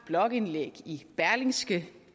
blogindlæg i berlingske